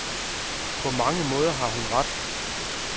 På mange måder har hun ret.